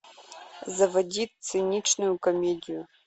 заводи циничную комедию